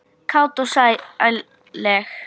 Kát og sælleg.